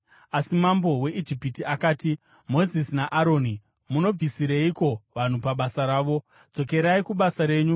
Asi mambo weIjipiti akati, “Mozisi naAroni, munobvisireiko vanhu pabasa ravo? Dzokerai kubasa renyu!”